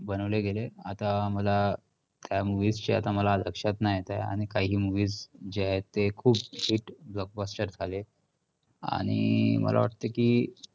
बनवले गेले. आत्ता मला त्या movies शी आता मला लक्षात नाही येत आहे आणि काही movies जे आहेत ते खूप hit, blockbuster झाले आणि मला वाटतं की